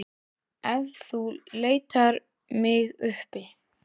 Ef þú leitar mig uppi.